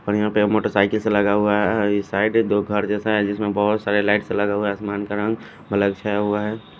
और यहा पे मोटरसाईकिल सा लगा हुआ है ये साइड दो घर जेसा है जिसमे बहोत लाइट कलर आसमान का रंग अलग छाया हुआ है ।